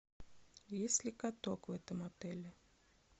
есть ли каток в этом отеле